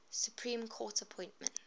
supreme court appointments